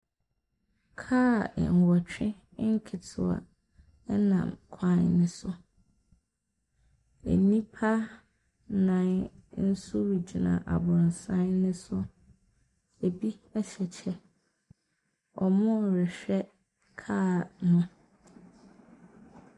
Kaa nwɔtwe nketewa nenam kwan ne so, nnipa nnan nso gyina abrɔsan ne so, bi hyɛ kyɛ, wɔrehwɛ kaa no.